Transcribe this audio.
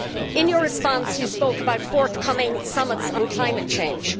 In your response you spoke about forthcoming summits on climate change.